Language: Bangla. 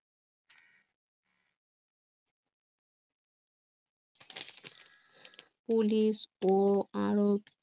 পুলিশ ও আরও